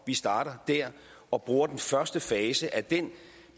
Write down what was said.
vi starter der og bruger den første fase af den